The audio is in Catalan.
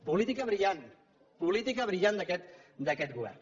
política brillant política brillant d’aquest govern